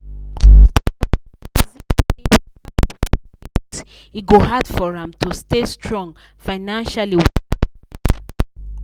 people dey reason say without better savings e go hard for am to stay strong financially with that business.